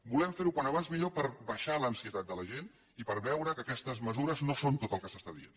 volem fer ho com més aviat millor per baixar l’ansietat de la gent i per veure que aquestes mesures no són tot el que s’està dient